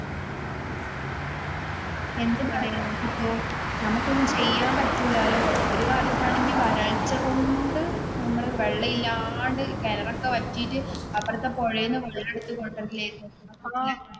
എന്ത് പറയാൻ ആണ് നമുക്ക് ഒന്നും ചെയ്യാൻ പറ്റില്ലാലോ, ഒരു കാലത്ത് ആണെങ്കിൽ വരൾച്ചകൊണ്ട് നമ്മള് വെള്ളം ഇല്ലാണ്ട് കിണറൊക്കെ വറ്റിട്ട് അപ്പുറത്തെ പുഴേന്നു വെള്ളം എടുത്തു കൊണ്ടുവരൽ ആയിരുന്നു.